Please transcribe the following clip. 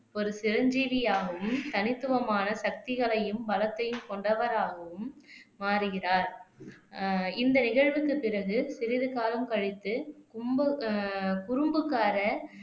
ஒரு சிரஞ்சீவியாகவும் தனித்துவமான சக்திகளையும் பலத்தையும் கொண்டவராகவும் மாறுகிறார் ஆஹ் இந்த நிகழ்வுக்குப் பிறகு சிறிது காலம் கழித்து கும்பு ஆஹ் குறும்புக்காரர்